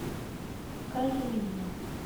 оливье